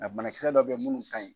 A banakisɛ dɔw bɛ munnu ta ka ɲi.